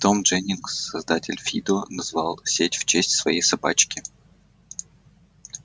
том дженнинг создатель фидо назвал сеть в честь своей собачки